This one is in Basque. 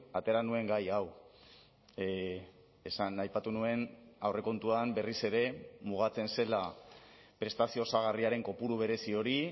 atera nuen gai hau esan aipatu nuen aurrekontuan berriz ere mugatzen zela prestazio osagarriaren kopuru berezi hori